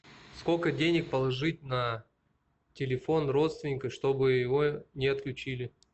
сколько денег положить на телефон родственника чтобы его не отключили